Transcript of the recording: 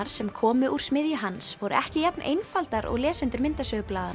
sem komu úr smiðju hans voru ekki jafn einfaldar og lesendur